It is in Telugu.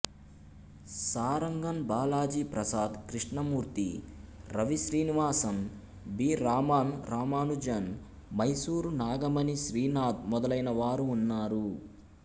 సారంగన్ బాలాజీ ప్రసాద్ కృష్ణమూర్తి రవి శ్రీనివాసన్ బి రామన్ రామానుజన్ మైసూర్ నాగమణీ శ్రీనాథ్ మొదలైనవారు ఉన్నారు